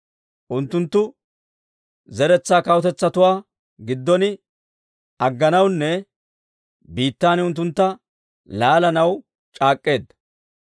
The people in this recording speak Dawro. Unttunttu zeretsaa kawutetsatuwaa giddon agganawunne biittan unttuntta laalanaw c'aak'k'eedda.